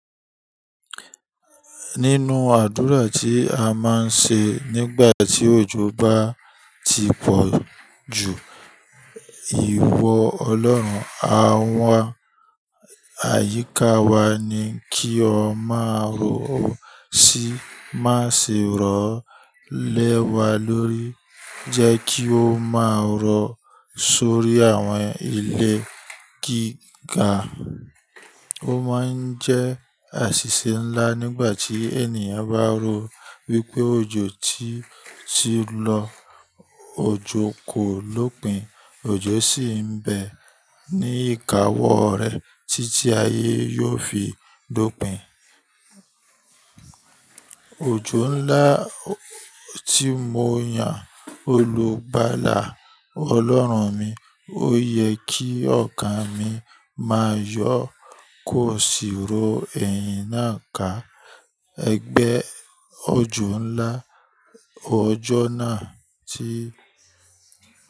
Nínú àdúrà tí a máa ń ṣe nígbà tí òjò bá ti pọ̀ ju ìwọ Ọlọ́run à ń wá, àyíká wa ni kí ọ má rọ̀ sí, má ṣe rọ̀ lẹ́wa lórí, jẹ́ kí o má rọ̀ sórí àwọn ilé gíga. Ó máa ń jẹ́ àṣìṣe ńlá nígbà tí ènìyàn bá ro wípé òjò tí ti lọ, òjò kò lópin, òjò sì ń bẹ ní ìkáwọ́ rẹ̀ títí ayé yóò fi dópin. Òjò ńlá tí mo yàn olùgbàlà Ọlọ́run mi, ó yẹ kí ọkàn mi máa yọ kó sì ro ẹ̀yìn náà ká. Ẹgbẹ́ òjò ńlá, òjò náà tí.